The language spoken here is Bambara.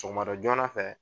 Sɔgɔmada joona fɛ